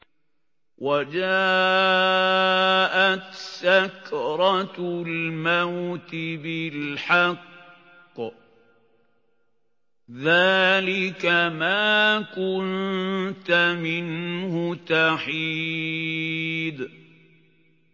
وَجَاءَتْ سَكْرَةُ الْمَوْتِ بِالْحَقِّ ۖ ذَٰلِكَ مَا كُنتَ مِنْهُ تَحِيدُ